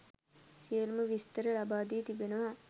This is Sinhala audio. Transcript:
සියලුම විස්තර ලබාදී තිබෙනවා.